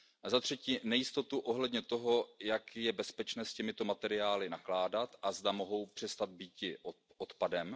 Za třetí, nejistotou ohledně toho, jak je bezpečné s těmito materiály nakládat a zda mohou přestat býti odpadem.